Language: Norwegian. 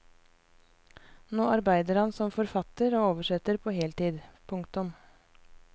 Nå arbeider han som forfatter og oversetter på heltid. punktum